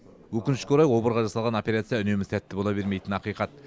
өкінішке орай обырға жасалған операция үнемі сәтті бола бермейтіні ақиқат